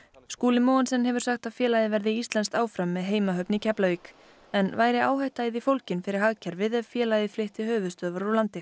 Skúli hefur sagt að félagið verði íslenskt áfram með heimahöfn í Keflavík en væri áhætta í því fólgin fyrir hagkerfið ef félagið flytti höfuðstöðvar úr landi